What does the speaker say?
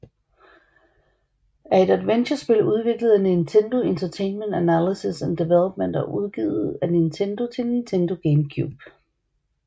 er et adventurespil udviklet af Nintendo Entertainment Analysis and Development og udgivet af Nintendo til Nintendo GameCube